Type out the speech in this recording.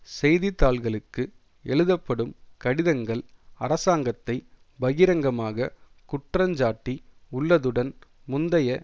செய்திதாள்களுக்கு எழுதப்படும் கடிதங்கள் அரசாங்கத்தை பகிரங்கமாக குற்றஞ்சாட்டி உள்ளதுடன் முந்தைய